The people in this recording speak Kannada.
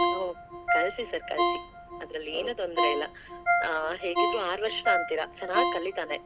ಓ ಕಳಸಿ sir ಕಳಸಿ ಅದರಲ್ಲೇನೂ ತೊಂದರೆ ಇಲ್ಲ, ಆಹ್ ಹೇಗಿದ್ರೂ ಆರ್ ವರ್ಷ ಅಂತೀರಾ ಚನ್ನಾಗ್ ಕಲಿತಾನೆ.